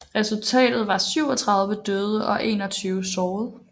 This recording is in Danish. Resultatet var 37 døde og 21 såret